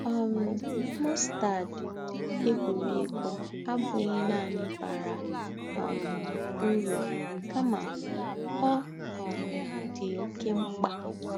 um Mọstad, egwuregwu abụghị nanị bara um uru kama ọ um dị oké mkpa.